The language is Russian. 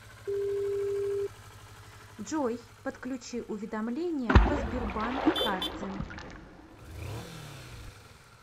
джой подключи уведомления по сбербанк карте